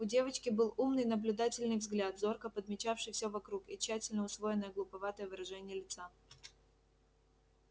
у девочки был умный наблюдательный взгляд зорко подмечавший всё вокруг и тщательно усвоенное глуповатое выражение лица